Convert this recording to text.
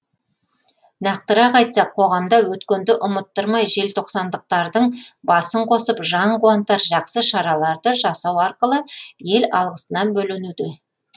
нақтырақ айтсақ қоғамда өткенді ұмыттырмай желтоқсандықтардың басын қосып жан қуантар жақсы шараларды жасау арқылы ел алғысына бөленуде